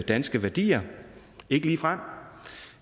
danske værdier ikke ligefrem